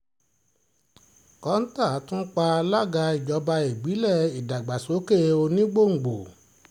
kọ́ńtà tún pa alága ìjọba ìbílẹ̀ ìdàgbàsókè onígbòǹgbò